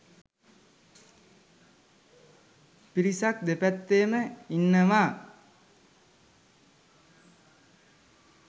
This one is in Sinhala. පිරිසක් දෙපැත්තෙම ඉන්නවා.